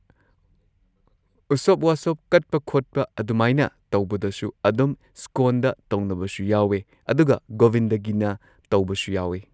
ꯎꯁꯣꯞ ꯋꯥꯁꯣꯞ ꯀꯠꯄ ꯈꯣꯠꯄ ꯑꯗꯨꯃꯥꯏꯅ ꯇꯧꯕꯗꯁꯨ ꯑꯗꯨꯝ ꯁ꯭ꯀꯣꯟꯗ ꯇꯧꯅꯕꯁꯨ ꯌꯥꯎꯋꯦ ꯑꯗꯨꯒ ꯒꯣꯕꯤꯟꯗꯒꯤꯅ ꯇꯧꯕꯁꯨ ꯌꯥꯎꯋꯦ꯫